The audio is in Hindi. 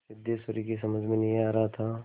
सिद्धेश्वरी की समझ में नहीं आ रहा था